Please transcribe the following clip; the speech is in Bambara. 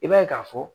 I b'a ye k'a fɔ